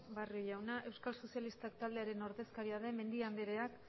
barrio jauna euskal sozialista taldearen ordezkaria den mendia andrea